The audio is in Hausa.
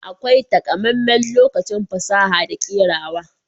Akwai takamaiman lokacin fasaha da kerawa.